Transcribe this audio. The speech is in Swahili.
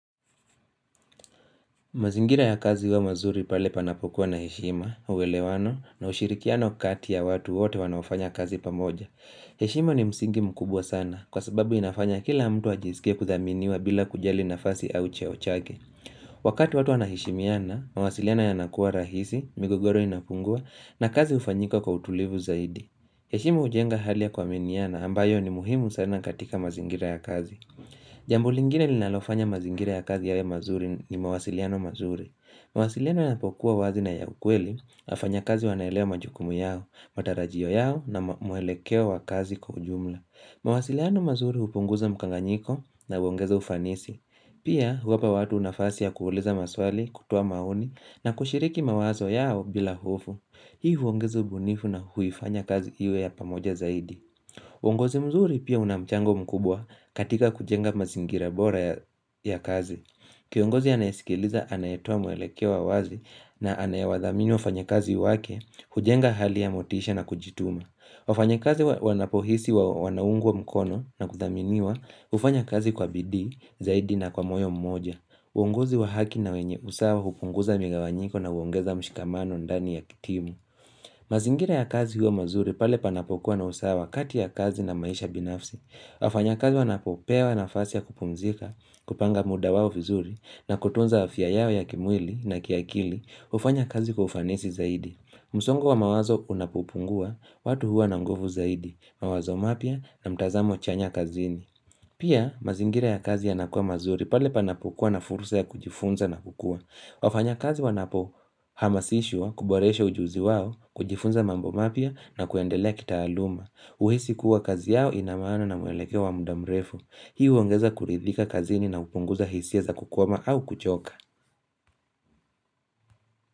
Mazingira ya kazi huwa mazuri pale panapokuwa na heshima, uelewano, na ushirikiano kati ya watu wote wanaofanya kazi pamoja. Heshima ni msingi mkubwa sana, kwa sababu inafanya kila mtu ajisikie kuthaminiwa bila kujali nafasi au cheo chake. Wakati watu wanaheshimiana, mawasiliano yanakuwa rahisi, migogoro inapungua, na kazi hufanyika kwa utulivu zaidi. Heshima hujenga hali ya kuaminiana, ambayo ni muhimu sana katika mazingira ya kazi. Jambo lingine linalofanya mazingira ya kazi yawe mazuri ni mawasiliano mazuri. Mawasiliano yanapokuwa wazi na ya ukweli, wafanyakazi wanaelewa majukumu yao, matarajio yao na mwelekeo wa kazi kwa ujumla. Mawasiliano mazuri hupunguza mkanganyiko na huongeza ufanisi. Pia huwapa watu nafasi ya kuuliza maswali, kutoa maoni na kushiriki mawazo yao bila hofu. Hii huongeza ubunifu na huifanya kazi iwe ya pamoja zaidi. Uongozi mzuri pia una mchango mkubwa katika kujenga mazingira bora ya kazi. Kiongozi anayesikiliza anayetoa mwelekeo wa wazi na anayewadhamini wafanyakazi wake, hujenga hali ya motisha na kujituma. Wafanyakazi wanapohisi wanaungwa mkono na kuthaminiwa hufanya kazi kwa bidii zaidi na kwa moyo mmoja. Uongozi wa haki na wenye usawa hupunguza migawanyiko na huongeza mshikamano ndani ya timu. Mazingira ya kazi huwa mazuri pale panapokuwa na usawa kati ya kazi na maisha binafsi wafanyakazi wanapopewa nafasi ya kupumzika, kupanga muda wao vizuri na kutunza afya yao ya kimwili na kiakili hufanya kazi kwa ufanisi zaidi msongo wa mawazo unapopungua, watu huwa na nguvu zaidi mawazo mapya na mtazamo chanya kazini Pia mazingira ya kazi yanakuwa mazuri pale panapokuwa na fursa ya kujifunza na kukua wafanyakazi wanapohamasishwa, kuboresha ujuzi wao, kujifunza mambo mapya na kuendelea kitaaluma. Huhisi kuwa kazi yao ina maana na mwelekeo wa muda mrefu. Hii huongeza kuridhika kazini na hupunguza hisia za kukwama au kuchoka.